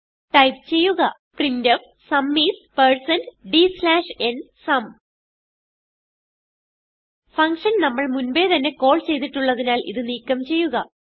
type ചെയ്യുക printfസും isdnസും ഫങ്ഷൻ നമ്മൾ മുൻപേ തന്നെ കാൾ ചെയ്തിട്ടുള്ളതിനാൽ ഇത് നീക്കം ചെയ്യുക